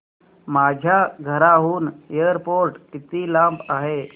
माझ्या घराहून एअरपोर्ट किती लांब आहे